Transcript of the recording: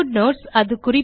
footnotes